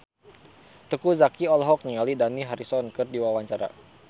Teuku Zacky olohok ningali Dani Harrison keur diwawancara